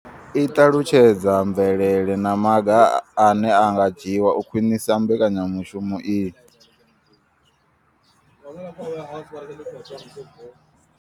I ṱalutshedza mvelelo na maga ane a nga dzhiwa u khwinisa mbekanyamushumo iyi.